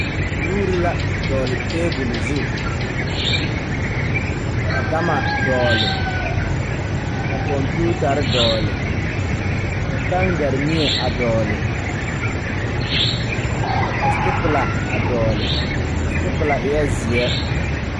Nuure la dɔgle tabole zu ka gama dɔgle ka kɔmpiutarre dɔgle ka taŋgaremie a dɔgle ka stiplila a dɔgle a stipila eɛɛ zeɛ.